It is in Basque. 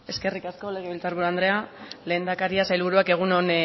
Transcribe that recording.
eskerrik asko legebiltzarburu andrea lehendakaria sailburuak egun on